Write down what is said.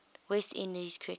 west indies cricket